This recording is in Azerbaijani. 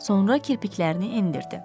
Sonra kirpiklərini endirdi.